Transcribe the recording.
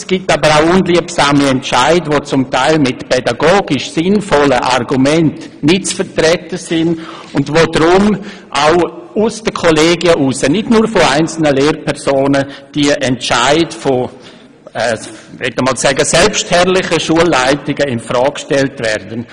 Es gibt aber auch unliebsame Entscheide von, ich möchte sagen «selbstherrlichen», Schulleitungen, die teilweise mit pädagogisch sinnvollen Argumenten nicht zu vertreten sind, und die deshalb auch aus den Kollegien heraus und nicht nur von einzelnen Lehrpersonen in Frage gestellt werden.